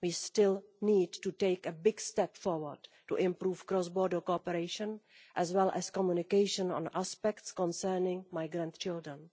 We still need to take a big step forward to improve cross border cooperation as well as communication on aspects concerning migrant children.